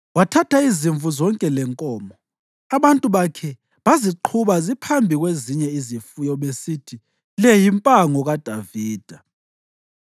Wathatha izimvu zonke lenkomo, abantu bakhe baziqhuba ziphambi kwezinye izifuyo, besithi, “Le yimpango kaDavida.”